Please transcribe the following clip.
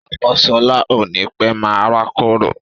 Ọmọ sọlá ó ní pẹ́ máa rákòrò